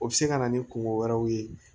O bɛ se ka na ni kungo wɛrɛw ye